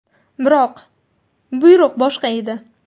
Biroq... buyruq boshqa edi.